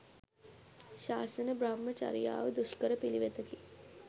ශාසන බ්‍රහ්ම චරියාව දුෂ්කර පිළිවෙතකි.